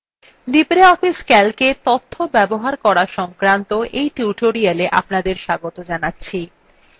libreoffice calcএ তথ্য ব্যবহার করা সংক্রান্ত এই tutorialএ স্বাগত জানাচ্ছি